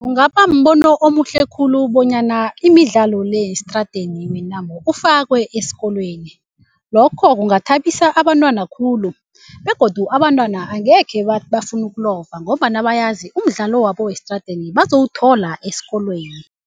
Kungabambono omuhle khulu bonyana imidlalo le yesitradeni ufakwe esikolweni. Lokho kungathabisa abantwana khulu begodu abantwana angekhe bathi bafuna ukulova ngombana bayazi umdlalo wabo wesitradeni bazowuthola esikolweni.